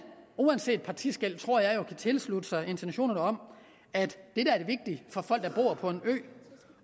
uanset partiskel tror jeg jo kan tilslutte sig intentionerne om at det vigtige for folk der bor på en ø